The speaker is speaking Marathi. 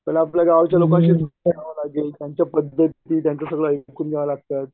पाहिलं आपल्या गावाचं बनवावं लागेल त्यांचं त्यांचं सगळं आयकून घ्यावं लागत